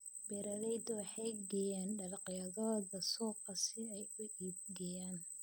Beeraleydu waxay geeyaan dalagyadooda suuqa si ay u iibgeeyaan.